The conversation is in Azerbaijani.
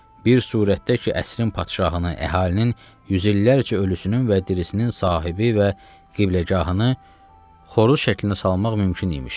Bir surətdə ki, əsrin padşahını əhalinin yüzillərcə ölüsünün və dirisinin sahibi və qibləgahını xoruz şəklində salmaq mümkün imiş.